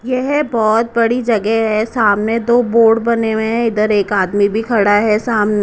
यह बहुत बड़ी जगह है सामने दो बोर्ड बने हुए हैं इधर एक आदमी भी खड़ा है सामने।